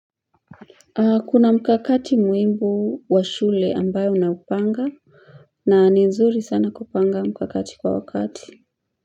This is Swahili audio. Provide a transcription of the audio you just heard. Kuna mkakati muimbu wa shule ambayo na kupanga na ni nzuri sana kupanga mkakati kwa wakati.